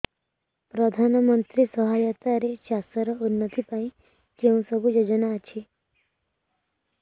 ପ୍ରଧାନମନ୍ତ୍ରୀ ସହାୟତା ରେ ଚାଷ ର ଉନ୍ନତି ପାଇଁ କେଉଁ ସବୁ ଯୋଜନା ଅଛି